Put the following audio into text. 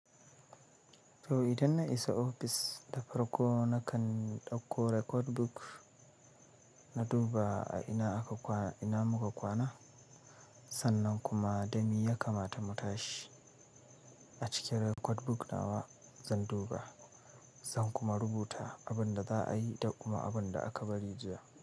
To idan na isa ofis, da farko na kan ɗauko record book na duba a ina aka kwana, ina muka kwana, sannan kuma dami ya kamata mu tashi. A cikin record book nawa zan duba, zan kuma rubuta abin da za a yi da kuma abin da aka bari jiya.